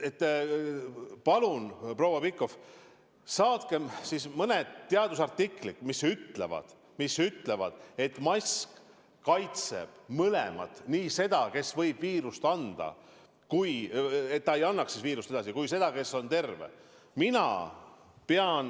Palun, proua Pikhof, saatke mulle mõned teadusartiklid, mis ütlevad, et mask kaitseb mõlema eest: nii selle eest, et see, kes võib viirust kanda, ei anna seda edasi, kui ka tagab, et terve inimene viirust ei saa.